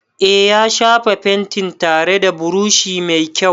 Eh, ya shafa fentin tare da brushi mai kyau.